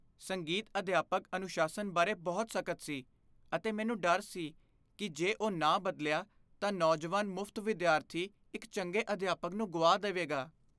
ਸੰਗੀਤ ਅਧਿਆਪਕ ਅਨੁਸ਼ਾਸਨ ਬਾਰੇ ਬਹੁਤ ਸਖਤ ਸੀ, ਅਤੇ ਮੈਨੂੰ ਡਰ ਸੀ ਕਿ ਜੇ ਉਹ ਨਾ ਬਦਲਿਆ ਤਾਂ ਨੌਜਵਾਨ ਮੁਫਤ ਵਿਦਿਆਰਥੀ ਇੱਕ ਚੰਗੇ ਅਧਿਆਪਕ ਨੂੰ ਗੁਆ ਦੇਵੇਗਾ।